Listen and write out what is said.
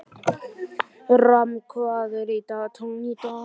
Ram, hvað er í dagatalinu í dag?